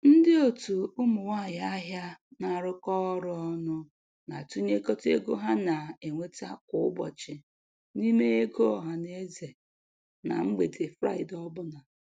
Ndị otu ụmụ nwanyị ahịa na-arụkọ ọrụ ọnụ na-atụnyekọta ego ha na-enweta kwa ụbọchị n'ime ego ọhanaeze na mgbede Fraịde ọ bụla.